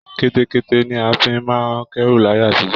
Kẹ́tẹ́kẹ́tẹ́ ni a fi máa ń kẹ́ru láyé àtijọ́